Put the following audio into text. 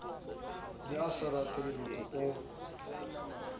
ne a sa ratelereko o